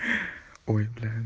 ой бля